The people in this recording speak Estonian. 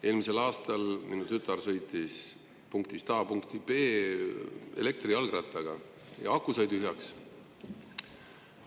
Eelmisel aastal minu tütar sõitis punktist A punkti B elektrijalgrattaga ja aku sai tühjaks.